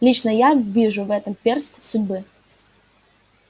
лично я вижу в этом перст судьбы